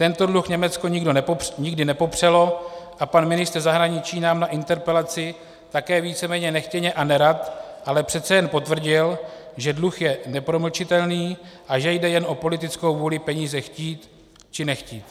Tento dluh Německo nikdy nepopřelo a pan ministr zahraničí nám na interpelaci také víceméně nechtěně a nerad, ale přece jen potvrdil, že dluh je nepromlčitelný a že jde jen o politickou vůli peníze chtít či nechtít.